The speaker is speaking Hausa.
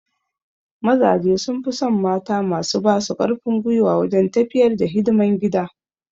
Mazaje sun fi son mata masu ba su karfin gwiwa wajen tafiyar da hidiman gida